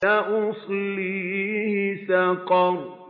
سَأُصْلِيهِ سَقَرَ